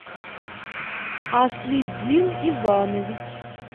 аслиддин иванович